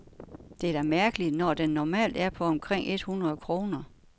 Det er da mærkeligt, når den normalt er på omkring et hundrede kroner.